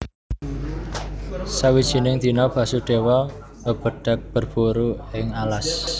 Sawijining dina Basudéwa mbebedhag berburu ing alas